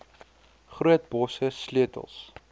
groot bosse sleutels